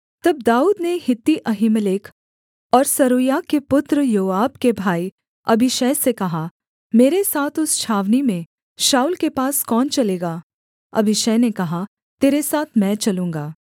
तब दाऊद ने हित्ती अहीमेलेक और सरूयाह के पुत्र योआब के भाई अबीशै से कहा मेरे साथ उस छावनी में शाऊल के पास कौन चलेगा अबीशै ने कहा तेरे साथ मैं चलूँगा